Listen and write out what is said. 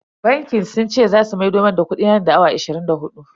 Bankin sun ce zasu maido mun da kudina nan da awa ashirin da hudu.